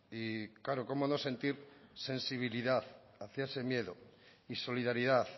y claro cómo no sentir sensibilidad hacia ese miedo y solidaridad